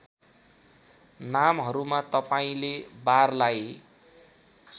नामहरूमा तपाईँले बारलाई